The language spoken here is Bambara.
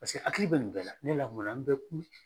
Paseke hakili bɛ nin bɛɛ la ne lamɔnna n bɛ kun